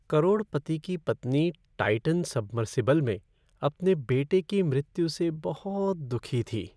करोड़पति की पत्नी Titan submersible में अपने बेटे की मृत्यु से बहुत दुखी थी।